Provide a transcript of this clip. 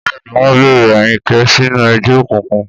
Bẹ́ẹ̀ ni, wọ́n bẹ̀rẹ̀ Ayinke sínú ẹgbẹ́ òkùnkùn.